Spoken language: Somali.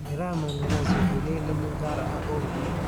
Miraha mananasi waxay leeyihiin dhadhan gaar ah oo macaan.